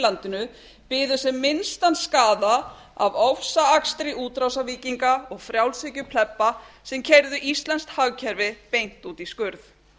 landinu biðu sem minnstan skaða af ofsaakstri útrásarvíkinga og frjálshyggjuplebba sem keyrðu íslenskt hagkerfi beint út í skurð